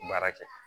Baara kɛ